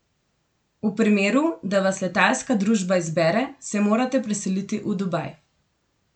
V primeru, da vas letalska družba izbere, se morate preseliti v Dubaj.